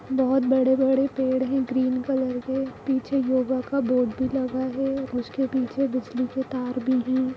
बहुत बड़े-बड़े पेड़ हैं ग्रीन कलर के। पीछे योगा का बोर्ड भी लगा है उसके पीछे बिजली के तार भी हैं।